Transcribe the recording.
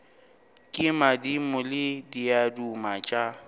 ke madimo le diaduma tša